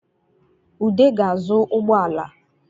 Ude ga-azụ ụgbọala